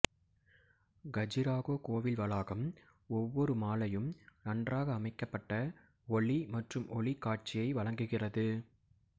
கஜுராஹோ கோவில் வளாகம் ஒவ்வொரு மாலையும் நன்றாக அமைக்கப்பட்ட ஒலி மற்றும் ஒளி காட்சியை வழங்குகிறது